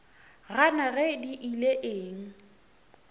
gana ge di ile eng